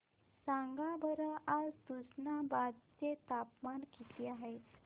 सांगा बरं आज तुष्णाबाद चे तापमान किती आहे